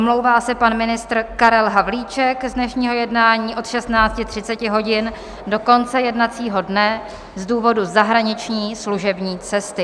Omlouvá se pan ministr Karel Havlíček z dnešního jednání od 16.30 hodin do konce jednacího dne z důvodu zahraniční služební cesty.